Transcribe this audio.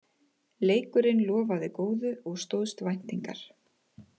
Leikurinn lofaði góðu og stóðst væntingar